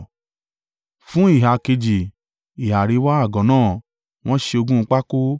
Fún ìhà kejì, ìhà àríwá àgọ́ náà, wọ́n ṣe ogún pákó